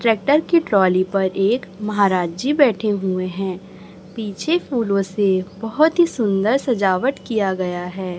Tractor की trolley पर एक महाराज जी बैठे हुए है पीछे फूलों से बहोत ही सुंदर सजावट किया गया है।